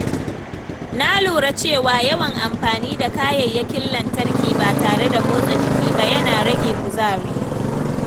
Na lura cewa yawan amfani da kayayyakin lantarki ba tare da motsa jiki ba yana rage kuzari.